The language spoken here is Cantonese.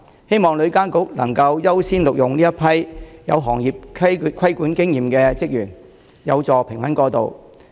希望旅監局能夠優先錄用有行業規管經驗的職員，以助平穩過渡。